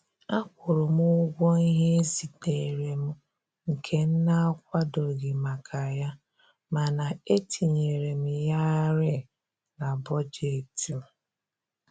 Akwụrụ m ụgwọ ihe e ziteere m nke na-akwadoghị maka ya, mana e e tinyere m yarị na bọjetị m